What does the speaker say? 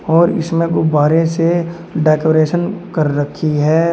और इसमें गुब्बारे से डेकोरेशन कर रखी है।